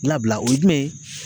Labila o ye jumɛn ye?